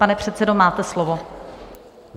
Pane předsedo, máte slovo.